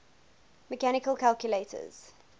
mechanical calculators